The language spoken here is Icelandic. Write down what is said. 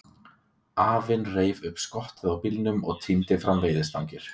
Afinn reif upp skottið á bílnum og tíndi fram veiðistangir.